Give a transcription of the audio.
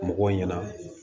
Mɔgɔw ɲɛna